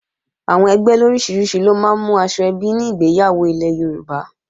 Àwọn ẹgbẹ́ oríṣiríṣi ló máa ń mú aṣọ ẹbí ní ìgbéyàwó ilẹ̀ Yorùbá